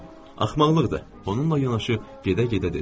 Axmaqlıqdır, onunla yanaşı gedə-gedə dedim.